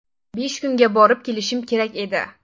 Besh kunga borib kelishim kerak edi.